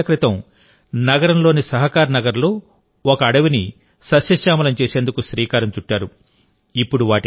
ఆయన ఇరవై ఏళ్ల క్రితం నగరంలోని సహకారనగర్లో ఒక అడవిని సస్యశ్యామలం చేసేందుకు శ్రీకారం చుట్టారు